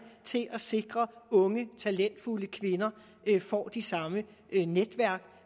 til at sikre at unge talentfulde kvinder får de samme netværk